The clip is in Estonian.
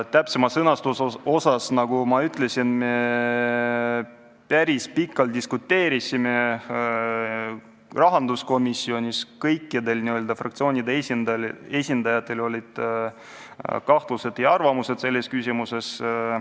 Täpsema sõnastuse üle, nagu ma ütlesin, me päris pikalt diskuteerisime rahanduskomisjonis, kõikide fraktsioonide esindajatel olid kahtlused ja oma arvamused selles küsimuses.